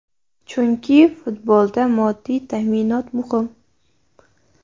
Chunki futbolda moddiy ta’minot muhim.